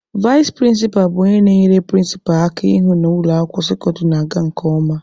Vais prịnsịpa bụ onye na-enyere prịnsịpa aka ịhụ na ụlọ akwụkwọ sekọndịrị na-aga nke ọma.